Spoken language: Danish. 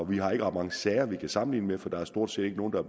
vi har ikke ret mange sager vi kan sammenligne med for der er stort set ikke nogen der